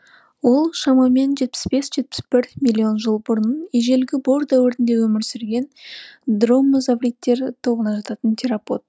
ол шамамен жетпіс бес жетпіс бір миллион жыл бұрын ежелгі бор дәуірінде өмір сүрген дромеозавридтер тобына жататын теропод